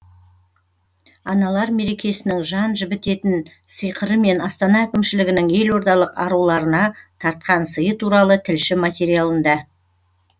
аналар мерекесінің жан жібідетін сиқыры мен астана әкімшілігінің елордалық аруларына тартқан сыйы туралы тілші материалында